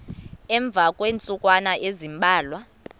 emva kweentsukwana ezimbalwa